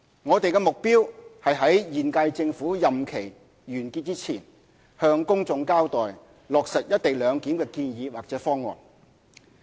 我們的目標是於現屆政府任期完結前，向公眾交代落實"一地兩檢"的建議或方案。